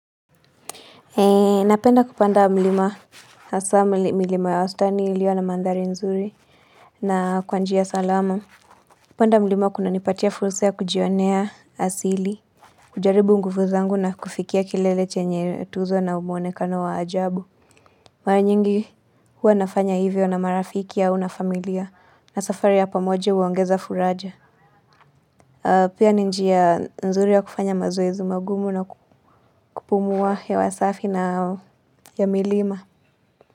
Napenda kupanda mlima hasa milima ya wastani iliyo na mandhari nzuri na kwa njia salama. Kupanda mlima kunanipatia fursa ya kujionea asili, kujaribu nguvu zangu na kufikia kilele chenye tuzo na muonekano wa ajabu. Mara nyingi huwa nafanya hivyo na marafiki au na familia na safari ya pamoja huongeza faraja. Pia ni njia nzuri ya kufanya mazoezi magumu na kupumua hewa safi na ya milima.